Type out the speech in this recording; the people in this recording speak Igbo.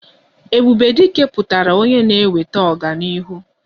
Ebube Dike pụtara onye na-eweta ọganihu